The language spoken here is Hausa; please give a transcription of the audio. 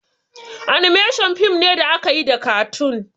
"Animations" fim ne da akayi da katun